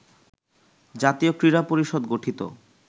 জাতীয় ক্রীড়া পরিষদ গঠিত